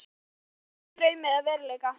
Óljóst hvort hún tilheyrir draumi eða veruleika.